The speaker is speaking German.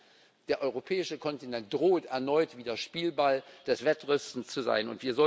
Das heißt, der europäische Kontinent droht erneut Spielball des Wettrüstens zu sein.